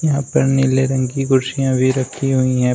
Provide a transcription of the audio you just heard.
यहां पर नीले रंग की कुर्सियां भी रखी हुई हैं।